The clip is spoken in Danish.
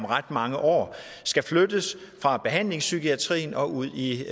ret mange år skal flyttes fra behandlingspsykiatrien og ud i